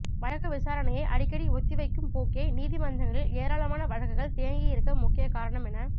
வழக்கு விசாரணையை அடிக்கடி ஒத்திவைக்கும் போக்கே நீதிமன்றங்களில் ஏராளமான வழக்குகள் தேங்கியிருக்க முக்கிய காரணம் என